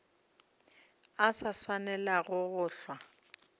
a sa swanelago go hlwa